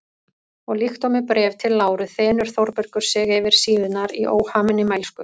Og líkt og með Bréfi til Láru þenur Þórbergur sig yfir síðurnar í óhaminni mælsku.